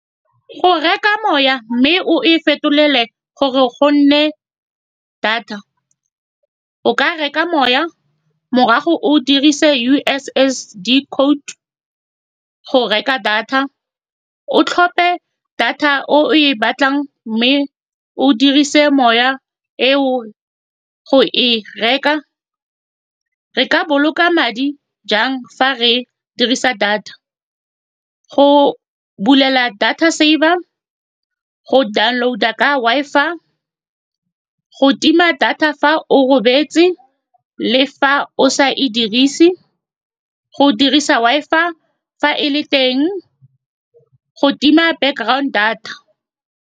Go reka moya, mme o e fetolelwe gore go nne data. O ka reka moya, morago o dirise U_S_S_D code go reka data. O tlhophe data o e batlang, mme o dirise moya e o go e reka. Re ka boloka madi jang fa re dirisa data? Go bulela data server go download ka Wi-Fi, go tima data fa o robetse le fa o sa e dirise, go dirisa Wi-Fi fa e le teng, go tima background data.